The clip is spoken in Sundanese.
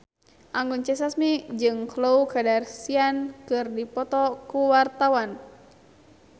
Anggun C. Sasmi jeung Khloe Kardashian keur dipoto ku wartawan